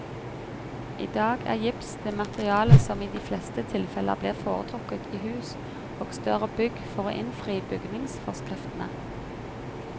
I dag er gips det materialet som i de fleste tilfeller blir foretrukket i hus og større bygg for å innfri bygningsforskriftene.